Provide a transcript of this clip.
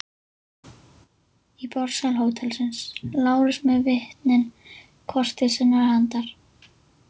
Í borðsal hótelsins: Lárus með vitnin hvort til sinnar handar.